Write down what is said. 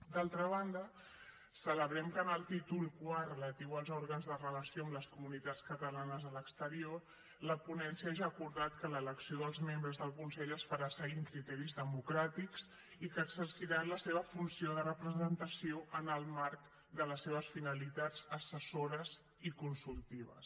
d’altra banda celebrem que en el títol iv relatiu als òrgans de relació amb les comunitats catalanes a l’exterior la ponència ja ha acordat que l’elecció dels membres del consell es farà seguint criteris democràtics i que exerciran la seva funció de representació en el marc de les seves finalitats assessores i consultives